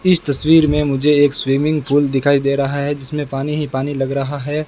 इस तस्वीर में मुझे एक स्विमिंग पूल दिखाई दे रहा है जिसमें पानी ही पानी लग रहा है।